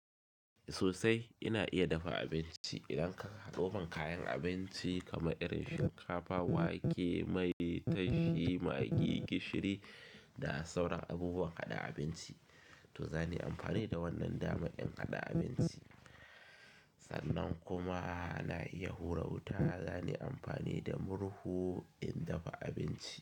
Sosai ina iya dafa abinci. Idan ka haɗuwan kayan abinci kamar irin shinkafa, wake, mai, tashi, magi, gishiri da sauran abubuwan haɗa abinci to zani amfani da wannan dama in haɗa abinci. Sannan kuma na iya hura wuta, zanai amfani da murhu in dafa abinci.